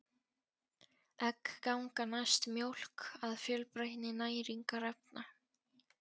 Egg ganga næst mjólk að fjölbreytni næringarefna.